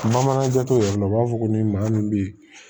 Bamananjo tɛmɛn u b'a fɔ ko ni maa min be yen